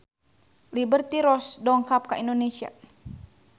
Liberty Ross dongkap ka Indonesia